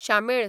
शामेळ